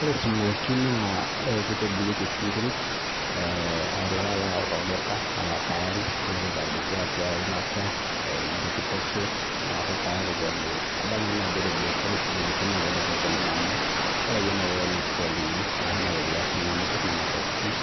ore sumoki naa kitobirieki oshi inkirik aailo ake ayau tolduka nilo aitadoki atua eeilata , nintokitokie neeku tayari pee emiri nadol naa ajo ore biashara esumoki naa kelelek oleng' amu ore akeyie inoto ina troli ino ashu egari akeyie ninapie